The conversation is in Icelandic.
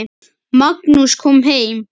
Magnús kom heim.